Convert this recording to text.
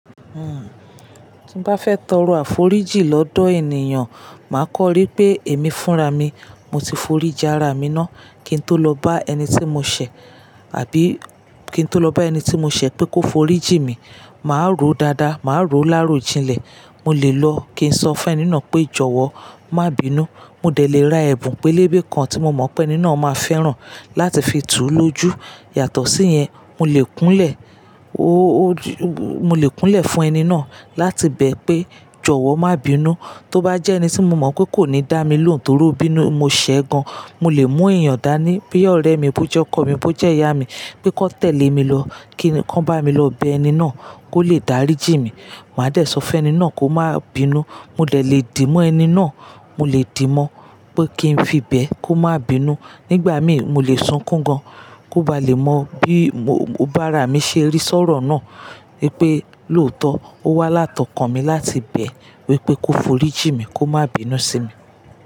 Hmm, tí n bá fẹ́ tọrọ àforíjì lọ́dọ̀ ènìyàn, màá kọrí pé èmi fúnra mi, mo ti forí jin ára mi ná. Kí n tó lọ bá ẹni tí mo ṣẹ̀, àbí kí n tó lọ bá ẹni tí mo ṣẹ̀ pé kó forí jì mi, màá ró dáadáa, màá ró láàárọ̀ jinlẹ̀. Mo lè lọ kí n sọ fún ẹni náà pé jọ̀wọ́ má bínú. Mo dẹ̀ lè ra ẹ̀bùn pélébé kan tí mo mọ̀ pé ẹni náà má fẹ́ràn láti fi tú un lójú. Yàtọ̀ sí yẹn, mo lè kúnlẹ̀, mo lè kúnlẹ̀ fún ẹni náà láti bẹ̀ ẹ́ pé jọ̀wọ́ má bínú. Tó bá jẹ́ ẹni tí mo mọ̀ pé kò ní dá mi lóhùn torí ó bínú, mo ṣẹ̀ gan. Mo lè mú èèyàn dání, bí i ọ̀rẹ́ mi, bó jẹ́ ọkọ mi, bó jẹ́ ìyá mi, pé kó tẹ̀lé mi lọ, kí wọ́n bá mi lọ bẹ ẹni náà kó lè dárí jì mi. Màá dẹ̀ sọ fún ẹni náà kó má bínú. Mo dè lè dì mọ́ ẹni náà, mo lè dì mọ̀ pé kí n fi bẹ̀ ẹ́ kó má bínú. Nígbà mí, mo lè sunkún gan kó ba lè mọ bí bá ra mi ṣe rí sọ́rọ̀ náà wípé lóòótọ́, ó wá láti okan mi láti bẹ̀ ẹ́ wípé kó forí jì mi, kó má bínú sí mi.